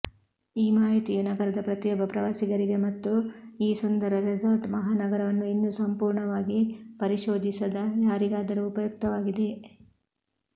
ಈ ಮಾಹಿತಿಯು ನಗರದ ಪ್ರತಿಯೊಬ್ಬ ಪ್ರವಾಸಿಗರಿಗೆ ಮತ್ತು ಈ ಸುಂದರ ರೆಸಾರ್ಟ್ ಮಹಾನಗರವನ್ನು ಇನ್ನೂ ಸಂಪೂರ್ಣವಾಗಿ ಪರಿಶೋಧಿಸದ ಯಾರಿಗಾದರೂ ಉಪಯುಕ್ತವಾಗಿದೆ